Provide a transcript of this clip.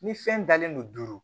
Ni fɛn dalen don